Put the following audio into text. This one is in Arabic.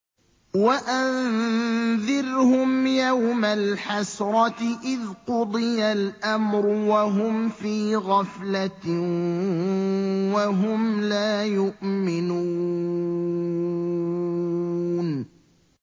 وَأَنذِرْهُمْ يَوْمَ الْحَسْرَةِ إِذْ قُضِيَ الْأَمْرُ وَهُمْ فِي غَفْلَةٍ وَهُمْ لَا يُؤْمِنُونَ